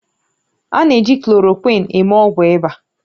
A na-eji klorokwịn eme ọgwụ ịba